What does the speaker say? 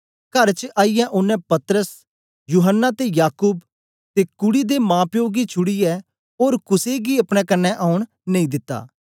कर च आईयै ओनें पतरस यूहन्ना ते याकूब ते कूडी दे माप्पो गी छुड़ीयै ओर कुसे गी अपने कन्ने औन नेई दिता